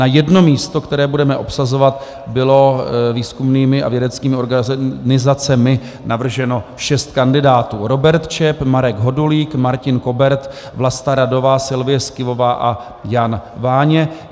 Na jedno místo, které budeme obsazovat, bylo výzkumnými a vědeckými organizacemi navrženo šest kandidátů - Robert Čep, Marek Hodulík, Martin Kobert, Vlasta Radová, Silvie Skyvová a Jan Váně.